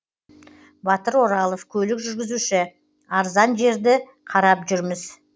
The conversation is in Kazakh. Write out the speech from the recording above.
батыр оралов көлік жүргізуші арзан жерді қарап жүрміз